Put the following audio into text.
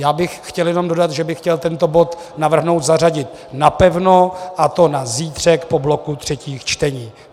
Já bych chtěl jenom dodat, že bych chtěl tento bod navrhnout zařadit napevno, a to na zítřek po bloku třetích čtení.